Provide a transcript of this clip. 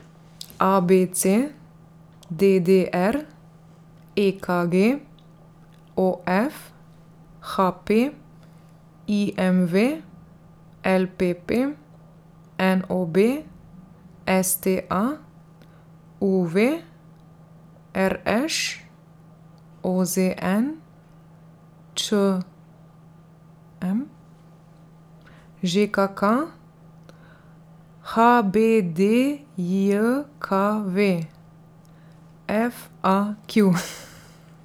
A B C; D D R; E K G; O F; H P; I M V; L P P; N O B; S T A; U V; R Š; O Z N; Č M; Ž K K; H B D J K V; F A Q.